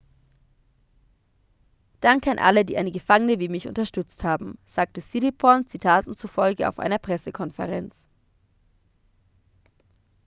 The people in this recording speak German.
danke an alle die eine gefangene wie mich unterstützt haben sagte siriporn zitaten zufolge auf einer pressekonferenz